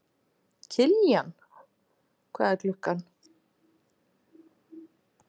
Kiljan, hvað er klukkan?